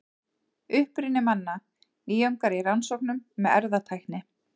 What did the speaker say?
Uppruni manna: Nýjungar í rannsóknum með erfðatækni.